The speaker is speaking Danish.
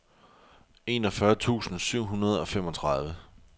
enogfyrre tusind syv hundrede og femogtredive